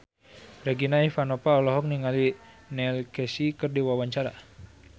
Regina Ivanova olohok ningali Neil Casey keur diwawancara